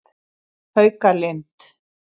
Haukalind